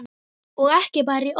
Og ekki bara í orði.